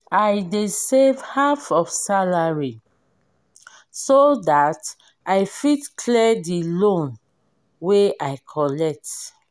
i dey save half of salary so that i fit clear the loan wey i collect.